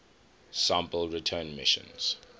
sample return missions